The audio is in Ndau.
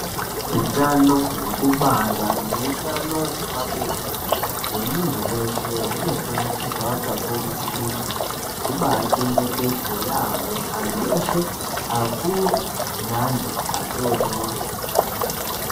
Hutano hwekubara neutano hwepabonde hwemuntu veshe unobakurudzirwa kakurutu kuti hubachengetedzwe yaambo. Antu eshe akuru neantu adodori.